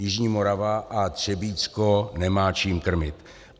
Jižní Morava a Třebíčsko nemá čím krmit.